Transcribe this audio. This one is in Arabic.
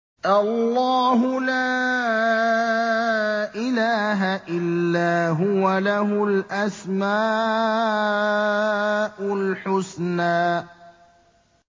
اللَّهُ لَا إِلَٰهَ إِلَّا هُوَ ۖ لَهُ الْأَسْمَاءُ الْحُسْنَىٰ